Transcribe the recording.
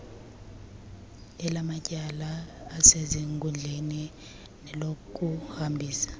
elamatyala asezinkundleni nelokuhambisa